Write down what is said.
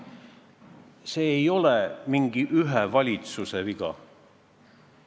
See ei ole mingi ühe valitsuse viga.